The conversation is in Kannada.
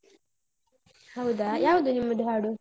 ಹೌದಾ, ಯಾವ್ದು ನಿಮ್ಮದು ಹಾಡು?